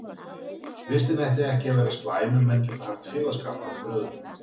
Vistin ætti ekki að vera slæm ef menn geta haft félagsskap hver af öðrum.